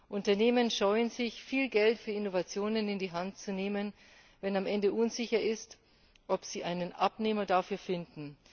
Unternehmen scheuen sich, viel Geld für Innovationen in die Hand zu nehmen, wenn am Ende unsicher ist, ob sie einen Abnehmer dafür finden.